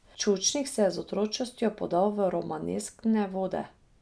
Čučnik se je z Otročjostjo podal v romaneskne vode.